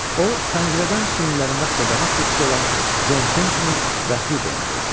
O pəncərədən çiyinlərində xırdavat qutusu olan Jon Kentini və Huqonu gördü.